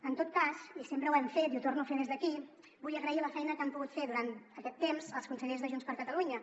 en tot cas i sempre ho hem fet i ho torno a fer des d’aquí vull agrair la feina que han pogut fer durant aquest temps els consellers de junts per catalunya